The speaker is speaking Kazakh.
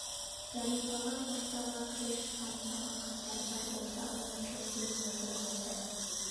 зәрипаға поштаға кіре шығам саған хаттар бар болса ала келем деп уәде берді